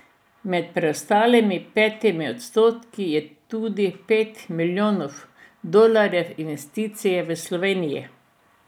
Med preostalimi petimi odstotki je tudi za pet milijonov dolarjev investicij v Sloveniji.